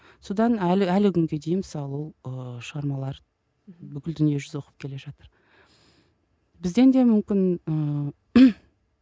содан әлі әлі күнге дейін мысалы ол ыыы шығармалар бүкіл дүние жүзі оқып келе жатыр бізден де мүмкін ыыы